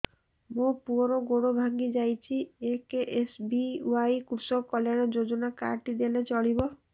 ମୋ ପୁଅର ଗୋଡ଼ ଭାଙ୍ଗି ଯାଇଛି ଏ କେ.ଏସ୍.ବି.ୱାଇ କୃଷକ କଲ୍ୟାଣ ଯୋଜନା କାର୍ଡ ଟି ଦେଲେ ଚଳିବ